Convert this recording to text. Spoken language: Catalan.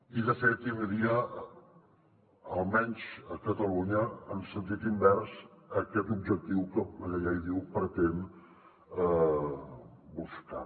i de fet tindria almenys a catalunya en sentit invers aquest objectiu que la llei diu que pretén buscar